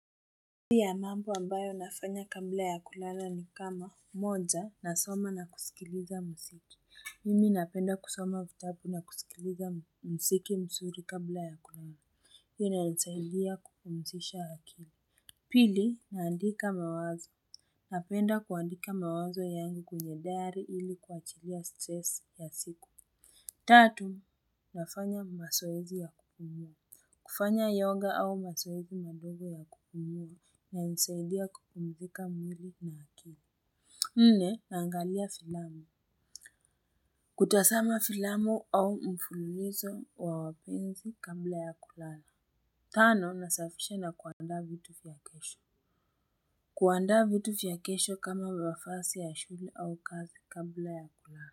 Baadhi ya mambo ambayo nafanya kabla ya kulala ni kama moja na soma na kusikiliza mziki. Mimi napenda kusoma vitabu na kusikiliza mziki mzuri kabla ya kulala. Hio inanisaidia kupumzisha akili. Pili naandika mawazo. Napenda kuandika mawazo yangu kwenye dari ili kuachilia stres ya siku. Tatu nafanya mazoezi ya kukimya. Kufanya yoga au mazoezi madogo ya kukimya inanisaidia kupumzika mwili na akili. Nne naangalia filamu. Kutazama filamu au mfululizo wa wapenzi kabla ya kulala. Tano nasafisha na kuanda vitu vya kesho. Kuanda vitu vya kesho kama mavazi ya shule au kazi kabla ya kulala.